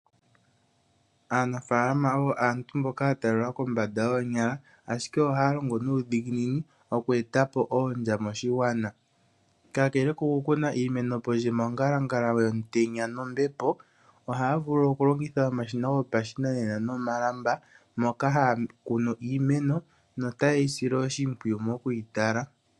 Aanafalama oyo aantu mboka ya talelwa kombanda yoonyala ashike ohaya longo nuudhiginini oku etapo oondya moshigwana. Kakele ko ku kuna iimeno pondje mongalangala yomutenya nombepo, ohaya vulu okulongitha omashina gopashinanena nomalamba moka haya kunu iimeno no taye yi sile oshimpwiyu mo ku yi tala.